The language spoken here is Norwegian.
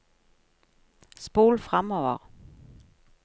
spol framover